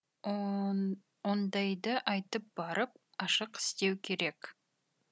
ондайды айтып барып ашық істеу керек